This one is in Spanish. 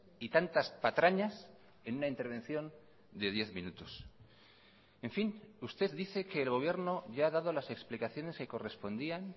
y tantas patrañas en una intervención de diez minutos en fin usted dice que el gobierno ya ha dado las explicaciones que correspondían